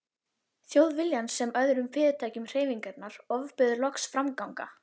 Þjóðviljans sem og öðrum fyrirtækjum hreyfingarinnar, ofbauð loks framganga